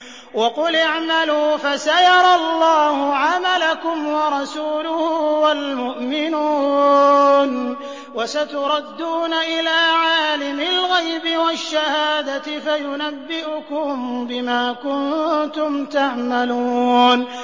وَقُلِ اعْمَلُوا فَسَيَرَى اللَّهُ عَمَلَكُمْ وَرَسُولُهُ وَالْمُؤْمِنُونَ ۖ وَسَتُرَدُّونَ إِلَىٰ عَالِمِ الْغَيْبِ وَالشَّهَادَةِ فَيُنَبِّئُكُم بِمَا كُنتُمْ تَعْمَلُونَ